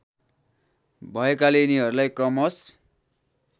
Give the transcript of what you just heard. भएकाले यिनीहरूलाई क्रमश